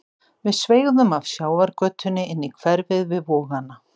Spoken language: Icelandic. Við sveigðum af sjávargötunni inn í hverfið við Vogana.